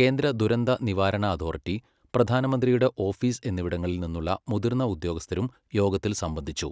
കേന്ദ്ര ദുരന്ത നിവാരണ അതോറിറ്റി, പ്രധാനമന്ത്രിയുടെ ഓഫീസ് എന്നിവിടങ്ങളിൽ നിന്നുള്ള മുതിർന്ന ഉദ്യോഗസ്ഥരും യോഗത്തിൽ സംബന്ധിച്ചു.